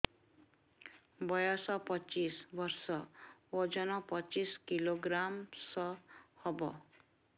ବୟସ ପଚିଶ ବର୍ଷ ଓଜନ ପଚିଶ କିଲୋଗ୍ରାମସ ହବ